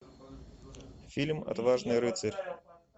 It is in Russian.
фильм отважный рыцарь